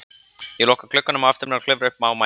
Ég loka glugganum á eftir mér og klifra upp á mæninn.